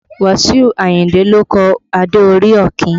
Wasiu Ayinde ló kọ Adé orí Ọ̀kín